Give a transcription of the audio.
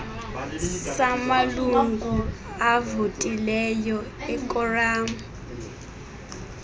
samalungu avotileyo ekoramu